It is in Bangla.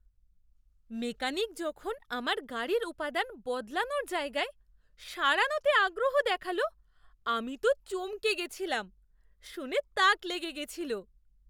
মেকানিক যখন আমার গাড়ির উপাদান বদলানোর জায়গায় সারানোতে আগ্রহ দেখাল আমি তো চমকে গেছিলাম। শুনে তাক লেগে গেছিল।